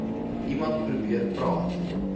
iemand probeer praat